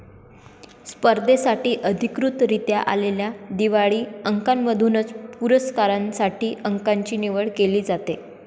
स्पर्धेसाठी अधिकृतरीत्या आलेल्या दिवाळी अंकांमधूनच पुरस्कारांसाठी अंकाची निवड केली जाते